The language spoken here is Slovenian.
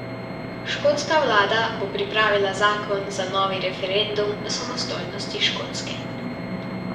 Škotska vlada bo pripravila zakon za novi referendum o samostojnosti Škotske.